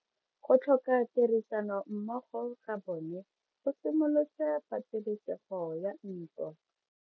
Go tlhoka tirsanommogo ga bone go simolotse patelesego ya ntwa.